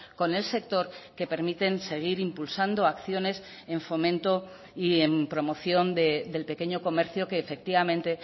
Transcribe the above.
con el sector que permiten seguir impulsando acciones en fomento y en promoción del pequeño comercio que efectivamente